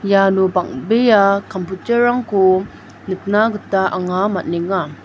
iano bang·bea kamputer -rangko nikna gita anga man·enga.